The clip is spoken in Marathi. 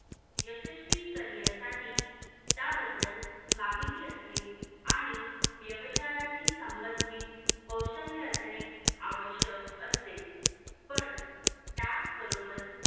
यशस्वी career साठी त्याबद्दल माहिती असणे आणि व्यवसायाशी संबंधातील कौशल्य असणे आवश्यक असते पण त्याच बरोबर